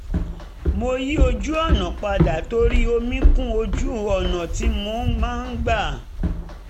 mo yí ojú-ọ̀nà padà torí omi kún ojú-ọ̀nà tí mo máa ń gbà